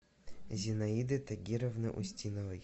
зинаиды тагировны устиновой